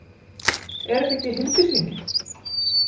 Er þetta ekki Hildisvíni?